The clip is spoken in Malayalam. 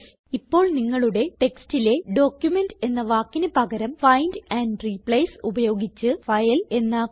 ഇപ്പോൾ നിങ്ങളുടെ ടെക്സ്റ്റിലെ ഡോക്യുമെന്റ് എന്ന വാക്കിന് പകരം ഫൈൻഡ് ആൻഡ് റിപ്ലേസ് ഉപയോഗിച്ച് ഫൈൽ എന്നാക്കുക